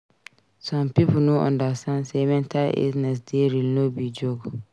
Some pipo no understand say mental illness dey real no be joke.